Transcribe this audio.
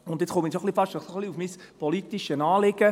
Nun komme ich schon fast zu meinem politischen Anliegen: